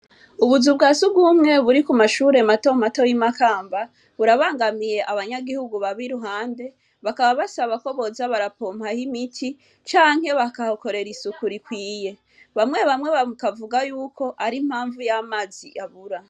Ubuzu bwa sugumwe buri ku mashure mato mato y'i Makamba, burabangamiye abanyagihugu baba iruhande, bakaba basaba ko boza barapompaho imiti canke bakahakorera isuku rikwiye. Bamwe bamwe bakavuga y'uko ari impamvu y'amazi abura.